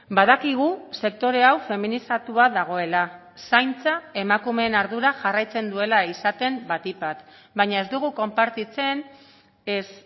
badakigu sektore hau feminizatua dagoela zaintza emakumeen ardura jarraitzen duela izaten batik bat baina ez dugu konpartitzen ez